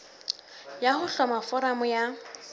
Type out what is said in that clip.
ya ho hloma foramo ya